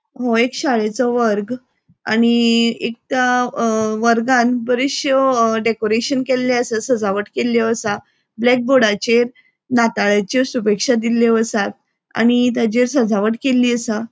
हो एक शाळेचो वर्ग आनी एक त्या वर्गान बरेशो डेकोरेशन केल्ले आसा सजावट केल्लो आसा ब्लॅक बोर्डाचेर नाताळाच्यो शुभेक्षा दिल्यो आसा आनी ताचेर सजावट केल्ली आसा.